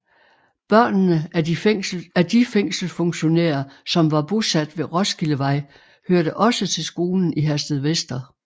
Børnene af de fængselsfunktionærer som var bosat ved Roskildevej hørte også til skolen i Herstedvester